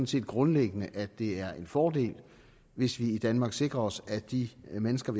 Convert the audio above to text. set grundlæggende at det er en fordel hvis vi i danmark sikrer os at de mennesker